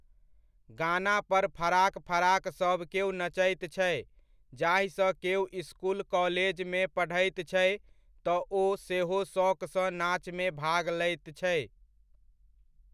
गाना पर फराक फराक सभकेओ नचैत छै, जाहिसँ केओ इसकुल काॅलेजमे पढ़ैत छै तऽ ओ सेहो शौकसँ नाचमे भाग लैत छै।